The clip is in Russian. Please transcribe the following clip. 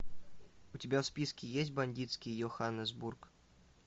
у тебя в списке есть бандитский йоханнесбург